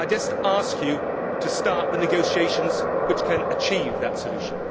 I just ask you to start the negotiations which can achieve that solution.